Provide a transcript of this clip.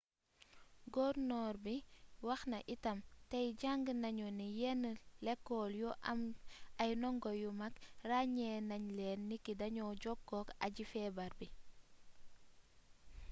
gornoor bi wax na itam tey jàng nañu ni yenn lekool yu am ay ndongo yu mag ràññee nañ leen niki dañoo jokkook aji feebar bi